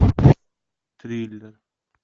триллер